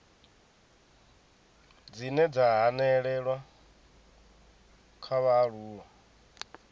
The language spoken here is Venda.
dzine dza hanelelwa nga vhaaluwa